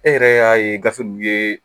E yɛrɛ y'a ye gafe ninnu ye